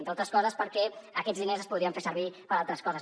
entre altres coses perquè aquests diners es podrien fer servir per a altres coses